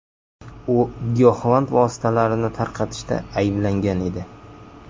U giyohvand vositalarini tarqatishda ayblangan edi.